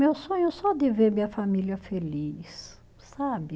Meu sonho é só de ver minha família feliz, sabe?